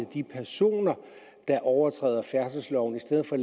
de personer der overtræder færdselsloven i stedet for at